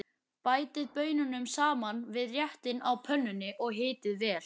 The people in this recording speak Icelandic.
Bætið baununum saman við réttinn á pönnunni og hitið vel.